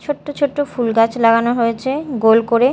ছোট্ট ছোট্ট ফুলগাছ লাগানো হয়েছে গোল করে।